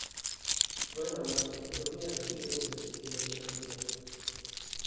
Dvojna mastektomija, štiri mesece kemoterapije.